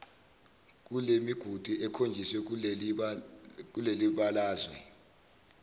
kulemigudu ekhonjisiwe kulelibalazwe